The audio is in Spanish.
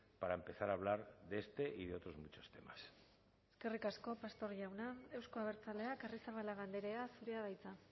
para empezar a hablar de este y de otros muchos temas eskerrik asko pastor jauna euzko abertzaleak arrizabalaga andrea zurea da hitza